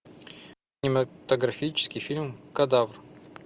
кинематографический фильм кадавр